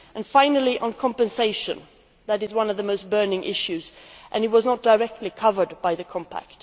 Finally, compensation is one of the burning issues and it was not directly covered by the Compact.